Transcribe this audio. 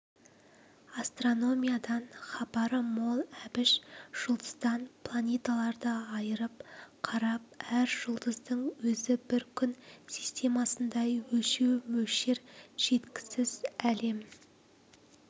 астрономиядан хабары мол әбіш жүлдыздан планеталарды айырып қарап әр жүлдыздың өзі бір күн системасындай өлшеу мөлшер жеткісіз әлем